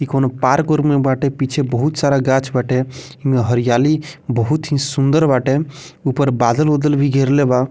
इ कोनो पार्क उर्क मे बाटे पीछे बहुत सारा गाछ बाटे हरियाली बहुत सूंदर बाटे ऊपर बादल-उदल भी घेरले बा।